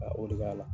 Ka o de ka la